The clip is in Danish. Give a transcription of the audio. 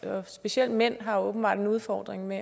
og specielt mænd har åbenbart en udfordring med